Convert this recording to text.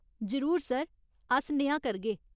जरूर सर, अस नेहा करगे।